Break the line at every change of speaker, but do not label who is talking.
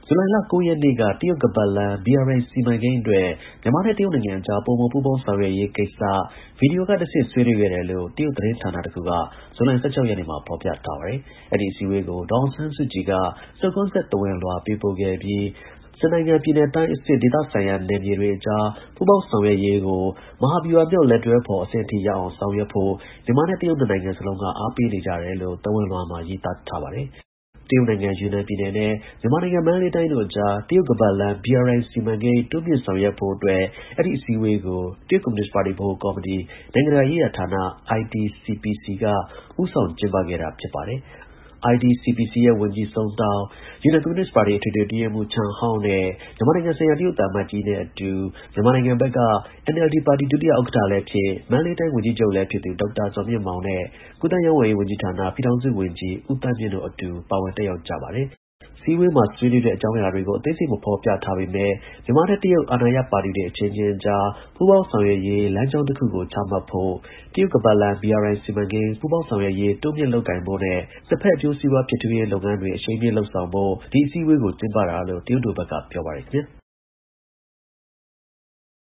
ဇူလိုင်လ ၉ ရက်နေ့က တရုတ် ခါးပတ်လမ်း BRI စီမံကိန်းအတွက် မြန်မာနဲ့တရုတ်နိုင်ငံ အကြား ပိုမို ပူးပေါင်းဆောင်ရွက်ရေးကိစ္စ ရုပ်သံကတဆင့် ဆွေးနွေးခဲ့တယ်လို့ တရုတ် သတင်းဌာနတစ်ခုက ဇူလိုင် ၁၆ ရက်နေ့မှာ ဖော်ပြထားပါတယ်။ အဲဒီ အစည်းအဝေးကို ဒေါ်အောင်ဆန်းစုကြည်က နှုတ်ခွန်းဆက် သဝဏ်လွှာ ပေးပို့ခဲ့ပြီး နှစ်နိုင်ငံက ပြည်နယ်တိုင်းအဆင့် ဒေသဆိုင်ရာနယ်မြေတွေအကြား ပူးပေါင်း ဆောင်ရွက်ရေးကို မဟာဗျူဟာမြောက် လက်တွဲဖော်အဆင့်အထိ ရောက်အောင် ဆောင်ရွက်ဖို့ မြန်မာနဲ့တရုတ် နှစ်နိုင်ငံ စလုံးက အားပေးနေကြတယ်လို့ သဝဏ်လွှာမှာ ရေးသားထားပါတယ်။ တရုတ်နိုင်ငံ ယူနန်ပြည်နယ်နဲ့ မြန်မာနိုင်ငံ မန္တလေးတိုင်းတို့အကြား တရုတ် ခါးပတ်လမ်း BRI စီမံကိန်း တိုးမြှင့် ဆောင်ရွက် ဖို့အတွက် အဲဒီအစည်းအဝေးကိုတရုတ်ကွန်မြူနစ်ပါတီ ဗဟိုကော်မတီ၊ နိုင်ငံတကာရေးရာဌာန IDCPC က ဦးဆောင်ကျင်းပခဲ့တာ ဖြစ်ပါတယ်။ IDCPC ရဲ့ ဝန်ကြီး Song Tao၊ယူနန် ကွန်မြူနစ်ပါတီ အထွေထွေ အတွင်းရေးမှူး Chen Hao နဲ့ မြန်မာနိုင်ငံဆိုင်ရာ တရုတ် သံအမတ်ကြီးနဲ့အတူမြန်မာနိုင်ငံဘက်က NLD ပါတီ ဒုဥက္ကဌလည်းဖြစ် မန္တလေးတိုင်း ဝန်ကြီးချုပ်လည်း ဖြစ်သူ ဒေါက်တာ ဇော်မြင့်မောင် နဲ့ ကူးသန်းရောင်းဝယ်ရေး ပြည်ထောင်စု ဝန်ကြီး ဦးသန်းမြင့်တို့ အတူ ပါဝင် တက်ရောက်ကြပါတယ်။ အစည်းအဝေးမှာ ဆွေးနွေးတဲ့ အကြောင်းအရာတွေကို အသေးစိတ် မဖော်ပြထားပေမဲ့ မြန်မာနဲ့တရုတ် အာဏာရ ပါတီတွေ အချင်းချင်းကြား ပူးပေါင်းဆောင်ရွက်ရေး လမ်းကြောင်းတစ်ခုကို ချမှတ်ဖို့၊ တရုတ်ခါးပတ်လမ်း BRI စီမံကိန်း ပူးပေါင်းဆောင် ရွက်ရေး တိုးမြင့်လုပ်ကိုင်ဖို့နဲ့ နှစ်ဘက်အကျိုးစီးပွား ဖြစ်ထွန်းရေး လုပ်ငန်းတွေ အရှိန်မြှင့် လုပ်ဆောင်ဖို့ ဒီ အစည်းအဝေးကို ကျင်းပတာလို့ တရုတ်တို့ဘက်က ပြောပါတယ်။